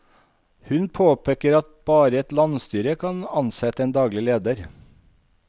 Hun påpeker at bare et landsstyre kan ansette en daglig leder.